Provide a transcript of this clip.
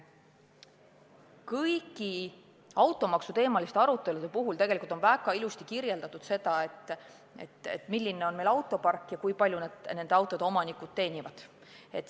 Kõigis automaksu teemal peetud aruteludes on väga ilusti kirjeldatud, milline on meil autopark ja kui palju meie autode omanikud teenivad.